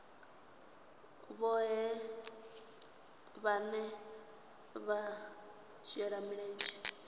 vhohe vhane vha shela mulenzhe